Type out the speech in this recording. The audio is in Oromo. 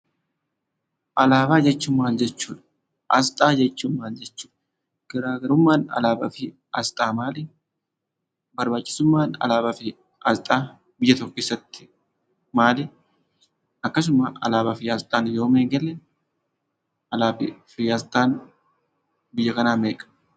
Alaabaa jechuun maal jechuu dha? Aasxaa jechuun maal jechuu dha? Garaa garummaan alaabaa fi aasxaa maal? Barbaachisummaan alaabaa fi aasxaa maal? Akkasumas alaabaa fi aasxaan yoom eegalee? Alaabaa fi aasxaan biyya kanaa meeqa?